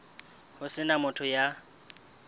ho se na motho ya